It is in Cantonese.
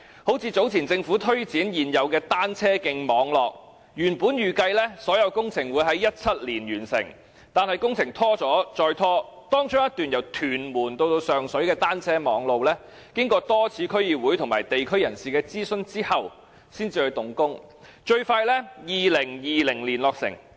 例如，早前政府宣布擴大現有的單車徑網絡，原本預計所有工程會在2017年完成，但工程一拖再拖，當中一段由屯門至上水的單車徑，經過多次區議會及地區人士的諮詢後才動工，最快於2020年落成。